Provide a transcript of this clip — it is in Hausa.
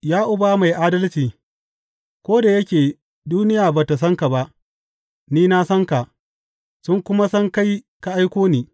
Ya Uba Mai Adalci, ko da yake duniya ba tă san ka ba, ni na san ka, sun kuma san kai ka aiko ni.